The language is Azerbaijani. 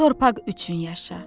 Bu torpaq üçün yaşa.